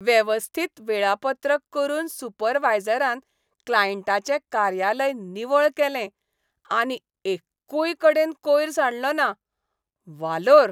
वेवस्थीत वेळापत्रक करून सुपरवायजरान क्लायंटाचें कार्यालय निवळ केलें आनी एक्कूय कडेन कोयर सांडलो ना. वालोर!